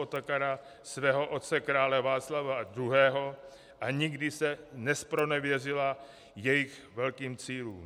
Otakara, svého otce krále Václava II. a nikdy se nezpronevěřila jejich velkým cílům.